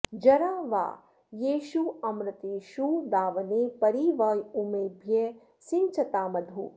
ज॒रा वा॒ येष्व॒मृते॑षु दा॒वने॒ परि॑ व॒ ऊमे॑भ्यः सिञ्चता॒ मधु॑